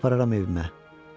Səni apararam evimə.